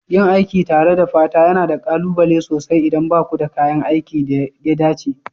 Yin aiki tare da fata yana da ƙalubale sosai idan ba ku da kayan aikin da ya dace.